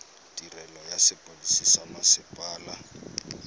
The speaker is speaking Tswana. tirelo ya sepodisi sa mmasepala